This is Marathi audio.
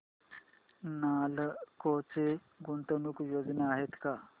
नालको च्या गुंतवणूक योजना आहेत का